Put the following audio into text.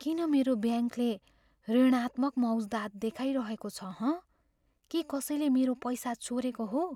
किन मेरो ब्याङ्कले ऋणात्मक मौज्दात देखाइरहेको छ हँ? के कसैले मेरो पैसा चोरेको हो?